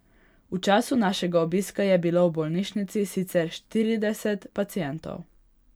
V času našega obiska je bilo v bolnišnici sicer štirideset pacientov.